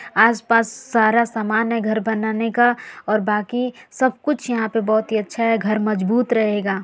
आस पास सारा सामान है घर बनाने का और बाकि सब कुछ यहाँ पे बोहोत ही अच्छा है घर मजबूत रहेगा।